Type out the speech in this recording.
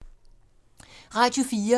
Radio 4